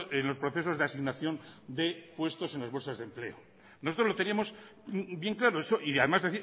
en los procesos de asignación de puestos en las bolsas de empleo nosotros lo tenemos bien claro eso y además